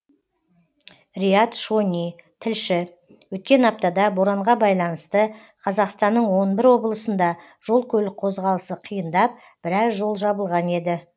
риат шони тілші өткен аптада боранға байланысты қазақстанның он бір облысында жол көлік қозғалысы қиындап біраз жол жабылған еді